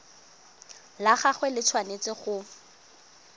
la gagwe le tshwanetse go